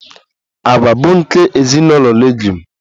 Agwa bụ nke ezinụlọ Leguum